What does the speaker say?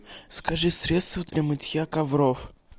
закажи средство для мытья ковров